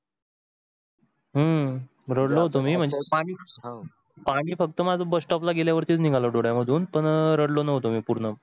हम्म रडलो होतो मी म्हणजे तुम्ही पाणी फक्त माझं bus stop ला गेल्यावर निघाल डोळ्या मधून पण रडलो नव्हतो मी पूर्ण